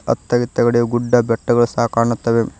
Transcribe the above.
ಅತ್ತ ಇತ್ತ ಕಡೆ ಗುಡ್ಡ ಬೆಟ್ಟಗಳು ಸಹ ಕಾಣುತ್ತವೆ.